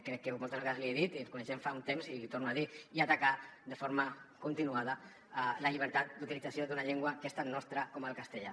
crec que moltes vegades l’hi he dit i ens coneixem fa un temps i l’hi torno a dir atacar de forma continuada la llibertat d’utilització d’una llengua que és tan nostra com el castellà